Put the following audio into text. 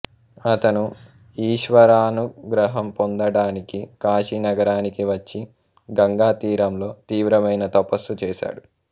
అతను ఈశ్వరానుగ్రహం పొందడానికి కాశీ నగరానికి వచ్చి గంగాతీరంలో తీవ్రమైన తపస్సు చేశాడు